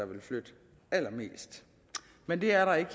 ville flytte allermest men det er der ikke